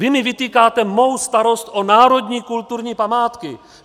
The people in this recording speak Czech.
Vy mi vytýkáte mou starost o národní kulturní památky.